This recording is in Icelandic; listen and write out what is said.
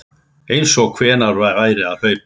Einsog einhver væri að hlaupa